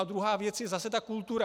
A druhá věc je zase ta kultura.